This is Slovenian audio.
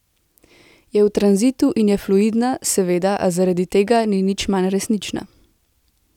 Je v tranzitu in je fluidna, seveda, a zaradi tega ni nič manj resnična.